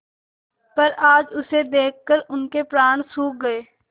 पर आज उसे देखकर उनके प्राण सूख गये